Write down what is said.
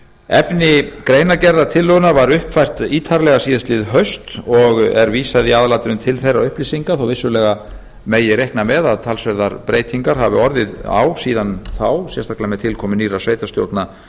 gjaldfrjálsa efni greinargerðar tillögunnar var uppfært ítarlega síðastliðið haust og er vísað í aðalatriðum til þeirra upplýsinga þó vissulega megi reikna með að talsverðar breytingar hafi orðið á síðan þá sérstaklega með tilkomu nýrra sveitarstjórna